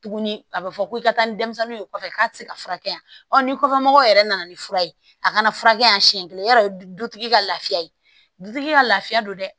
Tuguni a bɛ fɔ ko i ka taa ni denmisɛnninw ye kɔfɛ k'a tɛ se ka furakɛ yan ni kɔfɛ mɔgɔw yɛrɛ nana ni fura ye a kana furakɛ yan siɲɛ kelen ya dɔn du ka lafiya ye dutigi ka lafiya don dɛ